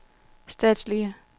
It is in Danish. statslige